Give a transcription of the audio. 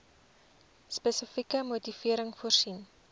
spesifieke motivering voorsien